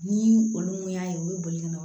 Ni olu mun y'a ye u bɛ boli ka na